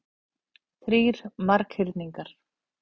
Þrír marghyrningar.